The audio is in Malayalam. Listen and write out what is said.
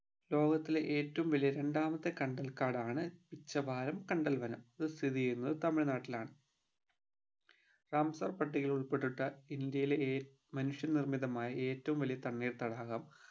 ലോകത്തിലെ ഏറ്റവും വലിയ രണ്ടാമത്തെ കണ്ടൽകാടാണ് ഉച്ചബായം കണ്ടൽ വനം അത് സ്ഥിതി ചെയ്യുന്നത് തമിഴ്‌നാട്ടിലാണ് റാംസാർ പട്ടികയിൽ ഉൾപ്പെട്ടിട്ട ഇന്ത്യലെ ഏറ്റ മനുഷ്യ നിർമിതമായ ഏറ്റവും വലിയ തണ്ണീർത്തടാകം